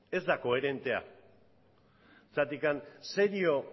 ez da koherentea zergatik serio